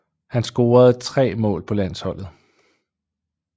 Han scorede tre mål på landsholdet